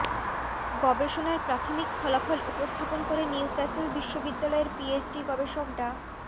গবেষণার প্রাথমিক ফলাফল উপস্থাপন করে নিউক্যাসল বিশ্ববিদ্যালয়ের পিএইচডি গবেষক ডা